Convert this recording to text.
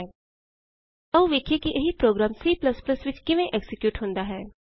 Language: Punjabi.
ਆਉ ਹੁਣ ਅਸੀਂ ਵੇਖੀਏ ਕਿ ਇਹੀ ਪ੍ਰੋਗਰਾਮ C ਵਿਚ ਕਿਵੇਂ ਐਕਜ਼ੀਕਿਯੂਟ ਹੁੰਦਾ ਹੈ